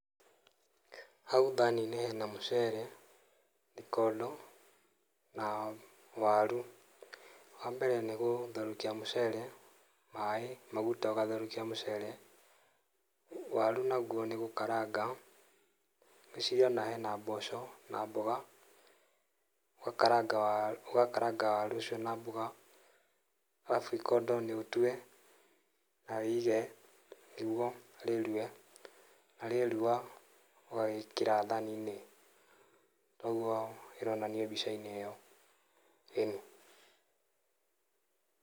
Hau thani-inĩ hena mũcere, ikondo na waru. Wa mbere nĩ gũtherũkia mũcere, maĩ, maguta ũgatherũkia mũcere. Waru naguo nĩ gũkaranga, ngwĩciria ona hena mboco na mboga. Ũgakaranga waru, ũgakaranga waru ũcio na mboga, arabu ikondo nĩ ũtue na wĩige nĩguo rĩruhe, na rĩeruha ũgagĩkĩra thani-inĩ, toguo ĩronanio mbica-inĩ ĩyo. Ĩni.